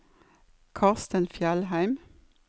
Karstein Fjellheim